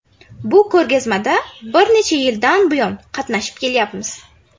Bu ko‘rgazmada bir necha yildan buyon qatnashib kelyapmiz.